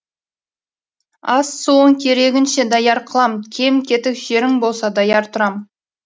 ас суың керегіңше даяр қылам кем кетік жерің болса даяр тұрам